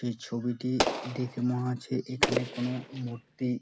এই ছবিটি দেখে মনে হচ্ছে এখানের কোনো মূর্তি--